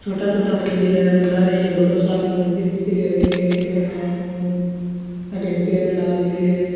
छोटा छोटा मंदिर है लारे एक बढ़ो सार को मंदिर दिखरियो है वेंकटेस्वर नाम हु अठीन पेड़ लाग रियो है।